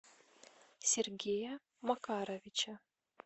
сергея макаровича